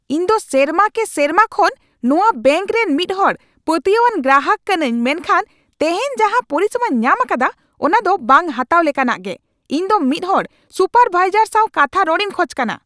ᱤᱧ ᱫᱚ ᱥᱮᱨᱢᱟ ᱠᱮ ᱥᱮᱨᱢᱟ ᱠᱷᱚᱱ ᱱᱚᱣᱟ ᱵᱮᱝᱠ ᱨᱮᱱ ᱢᱤᱫ ᱦᱚᱲ ᱯᱟᱹᱛᱭᱟᱹᱣᱟᱱ ᱜᱨᱟᱦᱟᱠ ᱠᱟᱹᱱᱟᱹᱧ ᱢᱮᱱᱠᱷᱟᱱ ᱛᱮᱦᱮᱧ ᱡᱟᱦᱟ ᱯᱚᱨᱤᱥᱮᱵᱟᱧ ᱧᱟᱢ ᱟᱠᱟᱫᱟ ᱚᱱᱟ ᱫᱚ ᱵᱟᱝ ᱦᱟᱛᱟᱣ ᱞᱮᱠᱟᱱᱟᱜ ᱜᱮ ᱾ ᱤᱧ ᱫᱚ ᱢᱤᱫ ᱦᱚᱲ ᱥᱩᱯᱟᱨ ᱵᱷᱟᱭᱥᱟᱨ ᱥᱟᱣ ᱠᱟᱛᱷᱟ ᱨᱚᱲᱤᱧ ᱠᱷᱚᱡ ᱠᱟᱱᱟ !